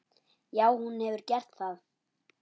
Já, hún hefur gert það.